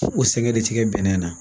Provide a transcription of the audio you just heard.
O sɛgɛn de ti kɛ bɛnɛ na